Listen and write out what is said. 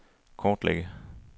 kortlægge